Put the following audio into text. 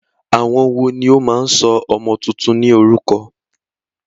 Àwọn wòó ní o máa ń sọ ọmọ túntún ní orúkọ?